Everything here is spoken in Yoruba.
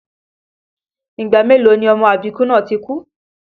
Ìgbà mélòó ni ọmọ àbíkú náà ti kú?